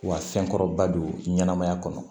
Wa fɛn kɔrɔba don ɲɛnamaya kɔnɔ